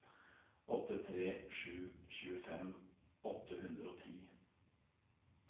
åtte tre to sju tjuefem åtte hundre og ti